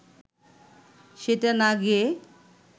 সেটা না গেয়ে